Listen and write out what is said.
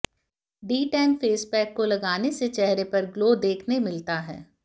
D tan face pack को लगाने से चेहरे पर ग्लो देखने मिलता है